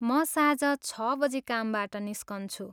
म साँझ छ बजी कामबाट निस्कन्छु ।